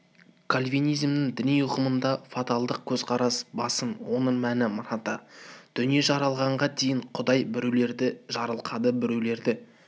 кальвенизмнің діни ұғымында фаталдық көзқарас басым оның мәні мынада дүние жаралғанға дейін құдай біреулерді жарылқады біреулерді